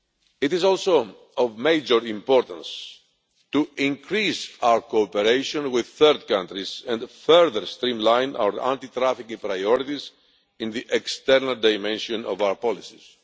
It is also of major importance to increase our cooperation with third countries and further streamline our anti trafficking priorities in the external dimension of our policies.